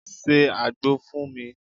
1. Se àgbò fún mi.